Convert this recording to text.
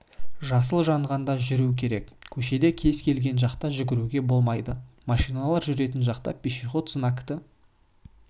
жасыл жанғанда жүру керек көшеде кез келген жақта жүруге болмайды машиналар жүретін жақта пешеход знакты